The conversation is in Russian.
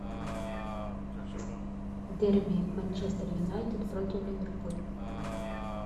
дерби манчестер юнайтед против ливерпуль